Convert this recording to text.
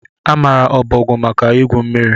A maara ọbọgwụ maka igwu mmiri